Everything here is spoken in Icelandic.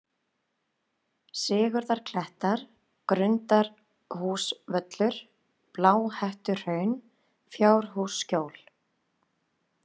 Sigurðarklettar, Grundarhúsavöllur, Bláhettuhraun, Fjárhússkjól